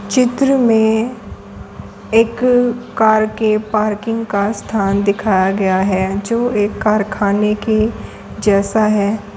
चित्र में एक कार के पार्किंग का स्थान दिखाया गया है जो एक कारखाने के जैसा है।